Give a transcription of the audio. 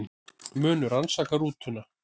Munu rannsaka rútuna